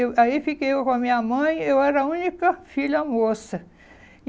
Eu... Aí fiquei eu com a minha mãe, eu era a única filha moça.